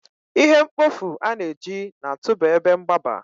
ihe mkpofu a na-eji na-atụba ebe mgbaba